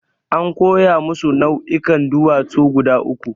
An koya musu nau'ikan duwatsu guda uku.